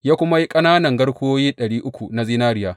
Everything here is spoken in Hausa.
Ya kuma yi ƙananan garkuwoyi ɗari uku na zinariya.